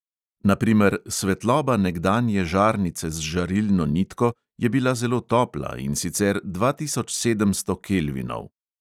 Na primer, svetloba nekdanje žarnice z žarilno nitko je bila zelo topla, in sicer dva tisoč sedemsto kelvinov.